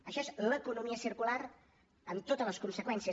això és l’economia circular amb totes les conseqüències